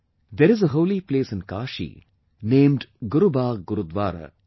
There is a holy place in Kashi named 'Gurubagh Gurudwara'